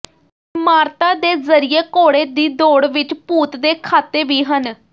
ਇਮਾਰਤਾਂ ਦੇ ਜ਼ਰੀਏ ਘੋੜੇ ਦੀ ਦੌੜ ਵਿੱਚ ਭੂਤ ਦੇ ਖਾਤੇ ਵੀ ਹਨ